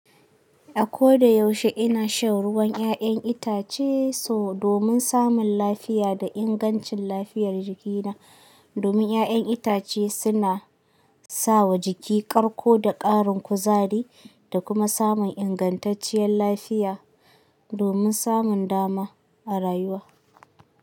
Akoda yaushe ina shan ruwan ƴaƴan itace so domin samun lafiya da ingancin lafiyar jikina domin 'ya'yan itace suna sawa jiki karko da ƙarin kuzari da kuma samun ingantacciyar lafiya domin samun dama a rayuwa.